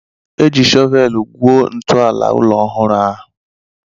E ji shọvel gwuo ntụ ala ụlọ ọhụrụ ahụ.